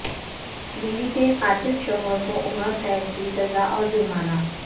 بیوی کے قاتل شوہر کو عمر قید کی سزاء اور جرمانہ